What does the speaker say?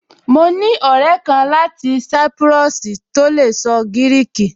Mo ní ọ̀rẹ́ kan láti sápúrọ́ọ̀sì tó lè sọ gíríkì